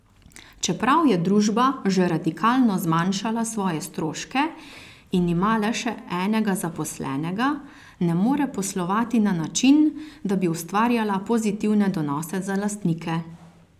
Čeprav je družba že radikalno zmanjšala svoje stroške in ima le še enega zaposlenega, ne more poslovati na način, da bi ustvarjala pozitivne donose za lastnike.